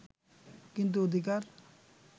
কিন্তু অধিকার